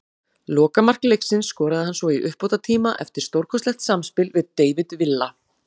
Lokamark leiksins skoraði hann svo í uppbótartíma eftir stórkostlegt samspil við David Villa.